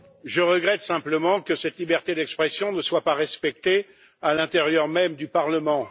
Je regrette simplement que cette liberté d'expression ne soit pas respectée à l'intérieur même du Parlement.